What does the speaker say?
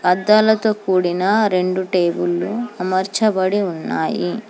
అద్దాలతో కూడిన రెండు టేబుల్లు అమర్చబడి ఉన్నాయి.